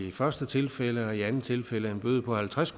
i første tilfælde og i andet tilfælde en bøde på halvtreds